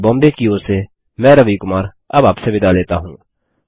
IIT Bombay की ओर से मैं रवि कुमार अब आपसे विदा लेता हूँ